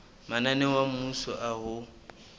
mananeo a mmuso a ho